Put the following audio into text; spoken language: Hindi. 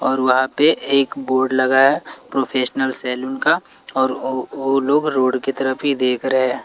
और वहाँ पे एक बोर्ड लगा है प्रोफेशनल सैलून का और ओ लोग रोड की तरफ ही देख रहे हैं।